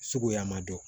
Suguya ma dɔn